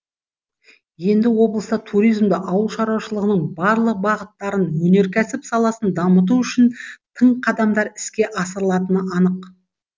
енді облыста туризмді ауыл шаруашылығының барлық бағыттарын өнеркәсіп саласын дамыту үшін тың қадамдар іске асырылатыны анық